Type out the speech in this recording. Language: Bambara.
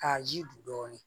K'a ji don dɔɔnin